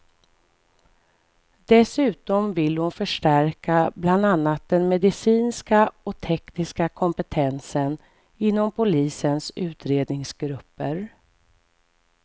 Dessutom vill hon förstärka bland annat den medicinska och tekniska kompetensen inom polisens utredningsgrupper.